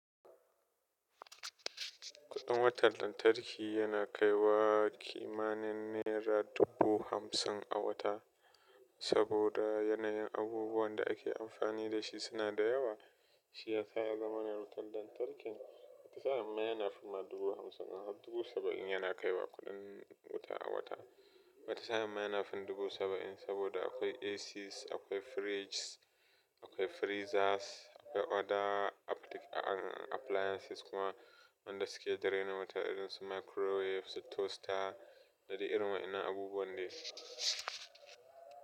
Kuɗin wutar lantarki yana kaiwa kimanin naira dubu hamsin a wata. Saboda yanayin abubuwan da ake amfani da shi suna da yawa, shi ya sa ya zamana wutar lantarki. Wani sa'in ma yana fin ma dubu hamsin har dubu saba'in yana kaiwa kuɗin wuta a wata. Watasa'in ma yana fin dubu saba'in saboda akwai ACs, akwai fridges, akwai freezers, akwai other appliances kuma wanda suke da raina wuta irin su microwaves, toaster da dai irin waɗannan abubuwa ne.